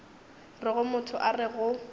rego motho a re go